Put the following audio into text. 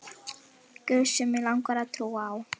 guð sem mig langar að trúa á.